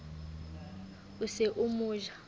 o se o mo ja